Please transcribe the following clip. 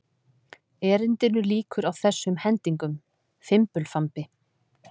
Erindinu lýkur á þessum hendingum: Fimbulfambi